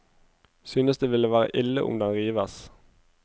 Synes det ville være ille om den rives.